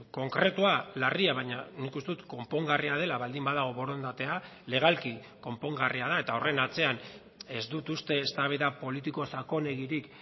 konkretua larria baina nik uste dut konpongarria dela baldin badago borondatea legalki konpongarria da eta horren atzean ez dut uste eztabaida politiko sakonegirik